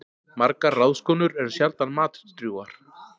Margar ráðskonur eru sjaldan matdrjúgar.